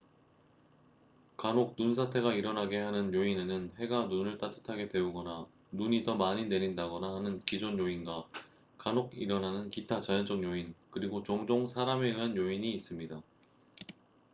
간혹 눈사태가 일어나게 하는 요인에는 해가 눈을 따뜻하게 데우거나 눈이 더 많이 내린다거나 하는 기존 요인과 간혹 일어나는 기타 자연적 요인 그리고 종종 사람에 의한 요인이 있습니다